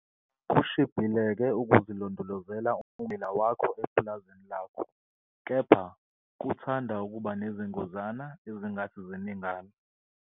Kushibhile-ke ukuzilondolozela ummbila wakho epulazini lakho, kepha kuthanda ukuba nezingozana ezingathi ziningana.